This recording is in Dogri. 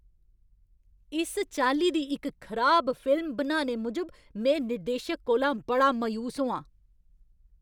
इस चाल्ली दी इक खराब फिल्म बनाने मूजब में निर्देशक कोला बड़ा मायूस होआं।